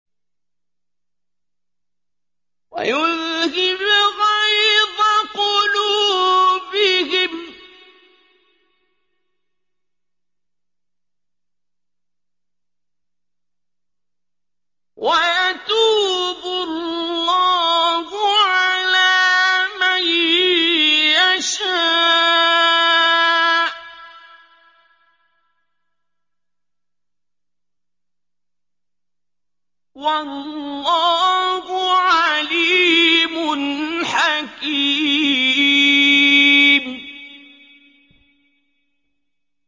وَيُذْهِبْ غَيْظَ قُلُوبِهِمْ ۗ وَيَتُوبُ اللَّهُ عَلَىٰ مَن يَشَاءُ ۗ وَاللَّهُ عَلِيمٌ حَكِيمٌ